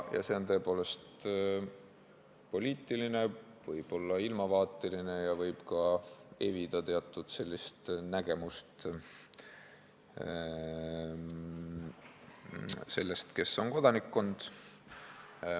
Ja see on tõepoolest poliitiline, võib-olla ilmavaateline ja võib evida teatud arusaama sellest, kes on kodanikkond.